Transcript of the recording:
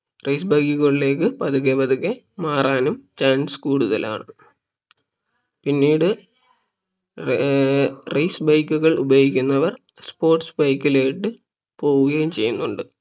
race bike കളിലേക്ക് പതുക്കെ പതുക്കെ chance കൂടുതലാണ് പിന്നീട് ഏർ race bike കൾ ഉപയോഗിക്കുന്നവർ sports bike ലോട്ട് പോവുകയും ചെയ്യുന്നുണ്ട്